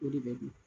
O de bɛ dun